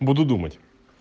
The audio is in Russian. буду думать